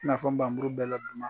I n'a fɔ bamuru bɛɛ la duman